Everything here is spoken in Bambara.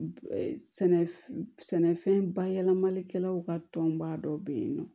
sɛnɛfɛn bayɛlɛmalikɛlaw ka tɔnba dɔ bɛ yen nɔ